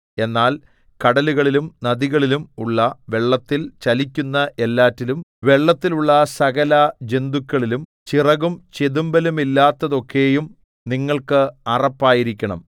എന്നാൽ കടലുകളിലും നദികളിലും ഉള്ള വെള്ളത്തിൽ ചലിക്കുന്ന എല്ലാറ്റിലും വെള്ളത്തിലുള്ള സകലജന്തുക്കളിലും ചിറകും ചെതുമ്പലുമില്ലാത്തതൊക്കെയും നിങ്ങൾക്ക് അറപ്പായിരിക്കണം